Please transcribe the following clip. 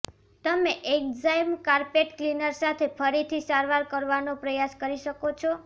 તમે enzyme carpet cleaner સાથે ફરીથી સારવાર કરવાનો પ્રયાસ કરી શકો છો